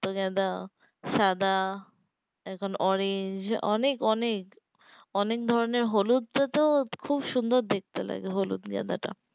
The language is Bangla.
রক্তগাঁদা সাদা এখন orange অনেক অনেক অনেক ধরণের হলুদ টা তো খুব সুন্দর দেখতে লাগে হলুদ গাঁদা টা